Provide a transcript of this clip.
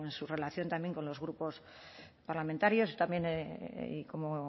su relación también con los grupos parlamentarios yo también y como